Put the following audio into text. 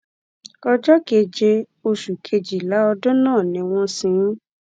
ọjọ keje oṣù kejìlá ọdún náà ni wọn sin ín